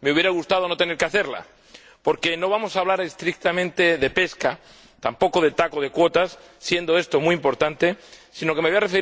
me habría gustado no tener que hacerla, porque no vamos a hablar estrictamente de pesca, tampoco de TAC o de cuotas —siendo esto muy importante—, sino que me voy a referir a cuestiones de fuero.